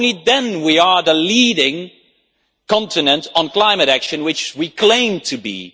Only then will we be the leading continent on climate action which we claim to be.